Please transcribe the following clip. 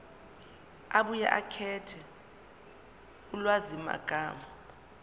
abuye akhethe ulwazimagama